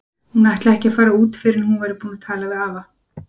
Hún ætlaði ekki að fara út fyrr en hún væri búin að tala við afa.